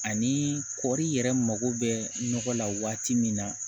Ani kɔɔri yɛrɛ mago bɛ nɔgɔ la waati min na